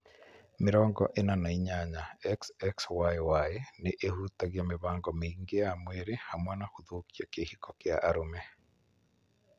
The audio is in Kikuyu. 48, XXYY nĩ ĩhutagia mĩbango mĩingĩ ya mwĩrĩ, hamwe na gũthũkia kĩhiko kĩa arũme.